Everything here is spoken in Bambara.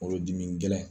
Kungolodimi gɛlɛn